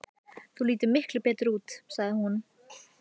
Þú lítur miklu betur út, sagði hún.